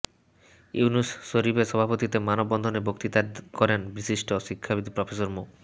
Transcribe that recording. ইউনুস শরীফের সভাপতিত্বে মানববন্ধনে বক্তৃতা করেন বিশিষ্ট শিক্ষাবিদ প্রফেসর মো